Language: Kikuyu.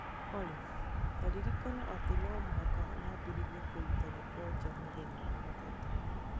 Olly, ta ririkana atĩ no mũhaka nyambĩrĩrie kũruta gĩko nja mũthenya wa gatatũ